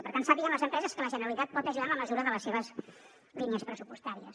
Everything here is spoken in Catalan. i per tant sàpiguen les empreses que la generalitat pot ajudar en la mesura de les seves línies pressupostàries